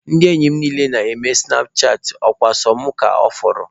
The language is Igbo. Ndị enyi m niile na-eme sụnap chatịn, ọ kwa sọsọ mụ ka ọ fọrọ.